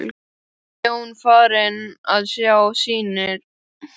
Var Jón þá farinn að sjá sýnir.